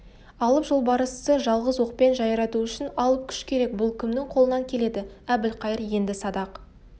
алып жолбарысты жалғыз оқпен жайрату үшін алып күш керек бұл кімнің қолынан келеді әбілқайыр енді садақ